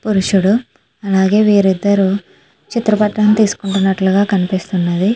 పురుషుడు అలాగే వీరిద్దరూ చిత్ర పటం తీసుకుంటున్నట్లుగా కనిపిస్తున్నది.